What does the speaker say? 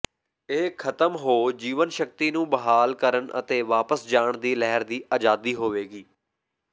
ਇਹ ਖਤਮ ਹੋ ਜੀਵਨਸ਼ਕਤੀ ਨੂੰ ਬਹਾਲ ਕਰਨ ਅਤੇ ਵਾਪਸ ਜਾਣ ਦੀ ਲਹਿਰ ਦੀ ਆਜ਼ਾਦੀ ਹੋਵੇਗੀ